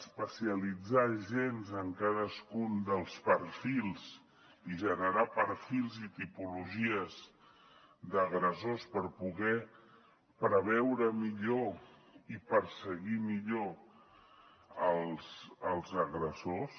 especialitzar agents en cadascun dels perfils i generar perfils i tipologies d’agressors per poder preveure millor i perseguir millor els agressors